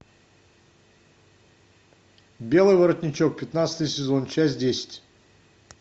белый воротничок пятнадцатый сезон часть десять